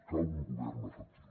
cal un govern efectiu